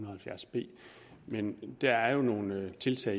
og halvfjerds b men der er jo nogle tiltag